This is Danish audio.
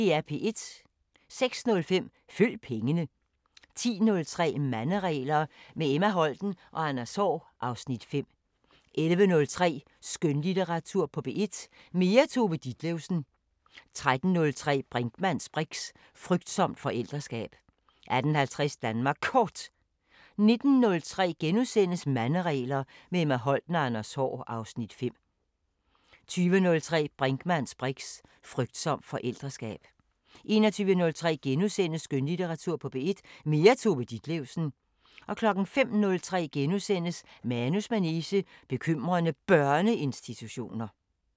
06:05: Følg pengene 10:03: Manderegler – med Emma Holten og Anders Haahr (Afs. 5) 11:03: Skønlitteratur på P1: Mere Tove Ditlevsen 13:03: Brinkmanns briks: Frygtsomt forældreskab 18:50: Danmark Kort 19:03: Manderegler – med Emma Holten og Anders Haahr (Afs. 5)* 20:03: Brinkmanns briks: Frygtsomt forældreskab 21:03: Skønlitteratur på P1: Mere Tove Ditlevsen * 05:03: Manus manege: Bekymrende Børneinstitutioner *